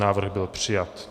Návrh byl přijat.